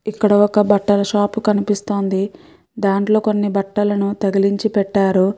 ఇక్కడ ఒక బట్టల షాప్ కనిపిస్తోంది దాంట్లో కొన్ని బట్టలను తగిలించి పెట్టారు.